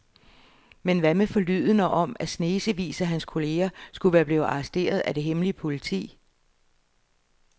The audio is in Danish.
Men hvad med forlydenderne om, at snesevis af hans kolleger skulle være blevet arresteret af det hemmelige politi?